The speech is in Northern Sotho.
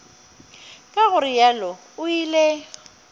ka go realo o ile